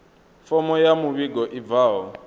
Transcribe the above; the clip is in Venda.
fomo ya muvhigo i bvaho